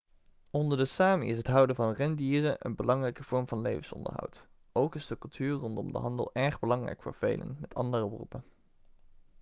onder de sámi is het houden van rendieren een belangrijke vorm van levensonderhoud. ook is de cultuur rondom de handel erg belangrijk voor velen met andere beroepen